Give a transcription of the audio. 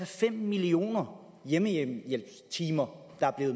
fem millioner hjemmehjælpstimer